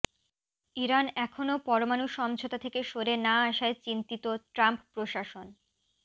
Iran এখনো পরমাণু সমঝোতা থেকে সরে না আসায় চিন্তিত ট্রাম্প প্রশাসন